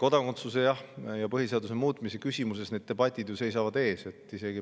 Kodakondsuse ja põhiseaduse muutmise küsimuses seisavad debatid ees.